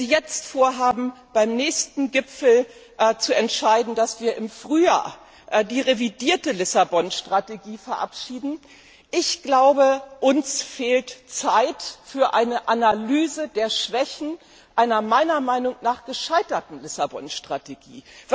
Wenn Sie jetzt vorhaben, beim nächsten Gipfel zu entscheiden, dass wir im Frühjahr die revidierte Lissabon Strategie verabschieden, fehlt uns Zeit für eine Analyse der Schwächen einer meiner Meinung nach gescheiterten Lissabon Strategie.